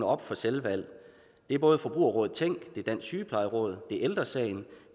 op for selvvalg det er både forbrugerrådet tænk det er dansk sygeplejeråd det er ældre sagen